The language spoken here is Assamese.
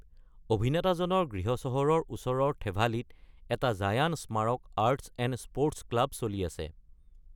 অভিনেতাজনৰ গৃহচহৰৰ ওচৰৰ থেভালিত এটা জায়ান স্মাৰক আৰ্টছ এণ্ড স্পৰ্টছ ক্লাব চলি আছে।